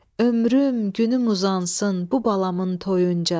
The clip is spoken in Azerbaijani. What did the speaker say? Ömrüm, günüm uzansın bu balamın toyunca.